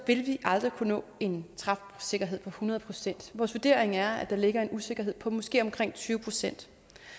vil vi aldrig kunne nå en træfsikkerhed på hundrede procent vores vurdering er at der ligger en usikkerhed på måske omkring tyve procent